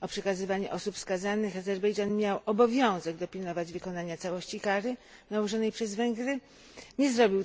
o przekazywaniu osób skazanych Azerbejdżan miał obowiązek dopilnować wykonania całości kary nałożonej przez Węgry, a tego nie zrobił.